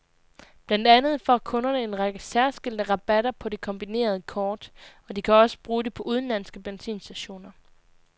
Blandt andet får kunderne en række særskilte rabatter på det kombinerede kort og de kan også bruge det på udenlandske benzinstationer.